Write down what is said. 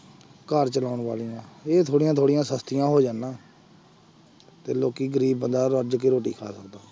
ਘਰ ਚਲਾਉਣ ਵਾਲੀਆਂ ਇਹ ਥੋੜ੍ਹੀਆਂ ਥੋੜ੍ਹੀਆਂ ਸਸਤੀਆਂ ਹੋ ਜਾਣ ਨਾ ਤੇ ਲੋਕੀ ਗ਼ਰੀਬ ਬੰਦਾ ਰੱਜ ਕੇ ਰੋਟੀ ਖਾ ਸਕਦਾ।